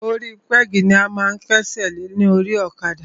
Orí pẹ́gì ni a máa ń kẹ́sẹ̀ lé lórí ọ̀kadà.